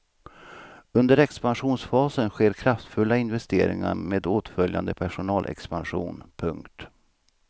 Under expansionsfasen sker kraftfulla investeringar med åtföljande personalexpansion. punkt